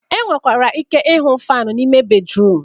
E nwekwara ike ịhụ fanụ n'ime bedruum